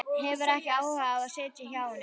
Hefur ekki áhuga á að sitja hjá honum.